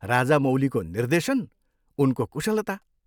राजामौलीको निर्देशन, उनको कुशलता!